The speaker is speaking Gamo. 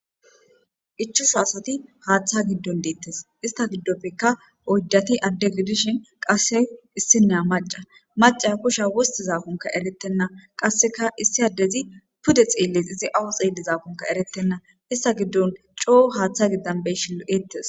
Ichu saasati haaththa giddon deettes ista giddoppeka oydati adde gidishin qasse issinneya maca maca kusha wostizaakunka erettenna qasseka issi addezi pude xeelles izi awu xeellizaakunka erettenna ista giddon coo haaththa giddan beyshilo7eettes.